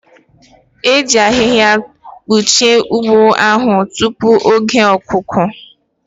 E ji ahịhịa kpuchie ugbo ahụ tupu oge ihe ọkụkụ